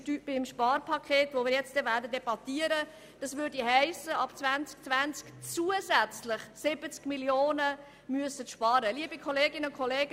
Beim Sparpaket, das wir anschliessend debattieren werden, würde das bedeuten, dass ab 2020 zusätzlich 70 Mio. Franken eingespart werden müssen.